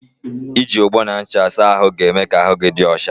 I ji ogbo na ncha saa ahụ ga-eme ka ahụ gị dị ọcha.